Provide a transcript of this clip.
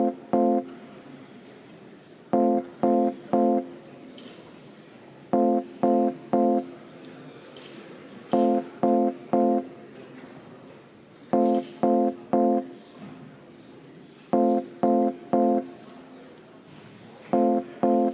Austatud Riigikogu, panen hääletusele Vabariigi Valitsuse algatatud kaitseväeteenistuse seaduse ja teiste seaduste muutmise seaduse eelnõu 447.